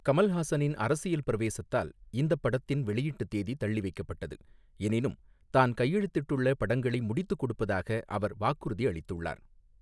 கமல்ஹாசனின் அரசியல் பிரவேசத்தால் இந்தப் படத்தின் வெளியீட்டுத் தேதி தள்ளிவைக்கப்பட்டது, எனினும் தான் கையெழுத்திட்டுள்ள படங்களை முடித்துக் கொடுப்பதாக அவர் வாக்குறுதி அளித்துள்ளார்.